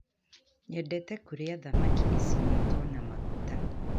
Nyendete kuria thamaki icinetwo na maguta